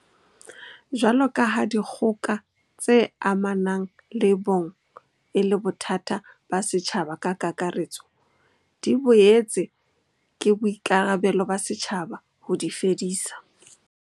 Jwalokaha dikgoka tse amanang le bong e le bothata ba setjhaba ka kakaretso, di boetse ke boikarabelo ba setjhaba ho di fedisa.